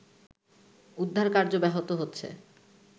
উদ্ধারকার্য ব্যাহত হচ্ছে